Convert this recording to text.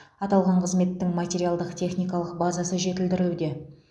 аталған қызметтің материалдық техникалық базасы жетілдірілуде